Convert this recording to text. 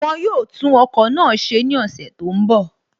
Wọ́n yóò tún ọkọ̀ náà ṣe ní ọ̀sẹ̀ tó ń bọ̀